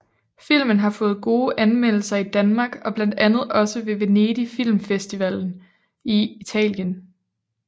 Filmen har fået gode anmeldelser i Danmark og blandt andet også ved Venedig Film Festival i Italien